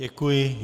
Děkuji.